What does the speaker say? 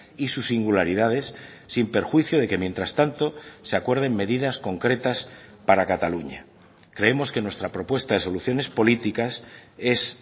y sus singularidades sin perjuicio de que mientras tanto se acuerden medidas concretas para cataluña creemos que nuestra propuesta de soluciones políticas es